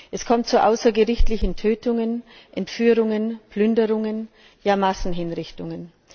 Es kommt zu außergerichtlichen Tötungen, Entführungen, Plünderungen, ja Massenhinrichtungen.